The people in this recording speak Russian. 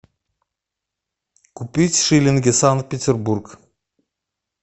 купить шиллинги санкт петербург